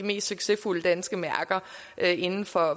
mest succesfulde danske mærker inden for